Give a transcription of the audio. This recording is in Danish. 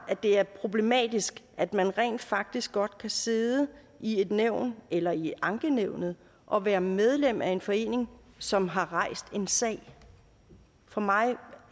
det er problematisk at man rent faktisk godt kan sidde i et nævn eller i ankenævnet og være medlem af en forening som har rejst en sag for mig